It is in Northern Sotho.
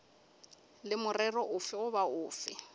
le morero ofe goba ofe